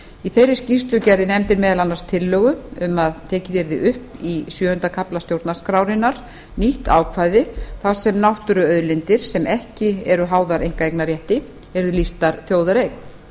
í þeirri skýrslu gerði nefndin meðal annars tillögu um að tekið yrði upp í sjöunda kafla stjórnarskrárinnar nýtt ákvæði þar sem náttúruauðlindir sem ekki eru háðar einkaeignarrétti yrðu lýstar þjóðareign